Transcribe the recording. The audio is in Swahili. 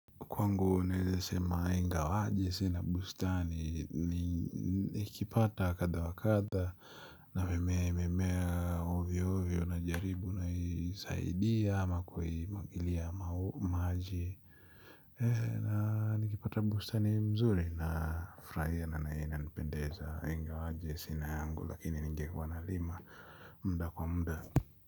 Kwangu naeze sema ingawa aje sina bustani niikipata kadha wa kadha. Na imemeamea ovyo ovyo najaribu naisaidia ama kuiimwagilia maji. Na nikipata bustani mzuri na furahia na inanipendeza ingawaje sina yangu lakini nigekuwa nalima muda kwa muda.